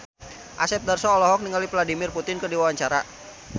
Asep Darso olohok ningali Vladimir Putin keur diwawancara